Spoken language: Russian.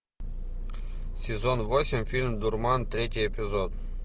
сезон восемь фильм дурман третий эпизод